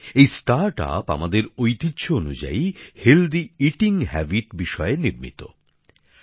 এই স্টার্টআপ আমাদের ঐতিহ্য অনুযায়ী স্বাস্থ্যকর খাবার খাওয়ার অভ্যাস গড়ে তোলার জন্য গড়ে উঠেছে